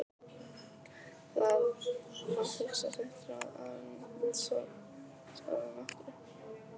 Þarf að hugsa sitt ráð áður en hún svarar nokkru.